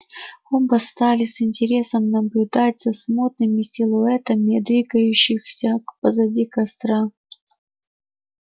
оба стали с интересом наблюдать за смутными силуэтами двигающихся к позади костра